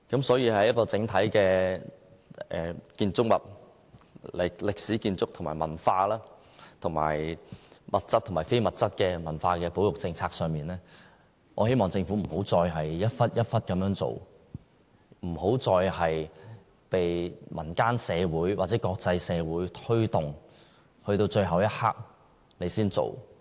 所以，在整體歷史建築和文化，以及物質和非物質的文化保育政策上，我希望政府再也不要零碎地處理，再也不要由民間社會或國際社會推動，直至最後一刻才着手處理。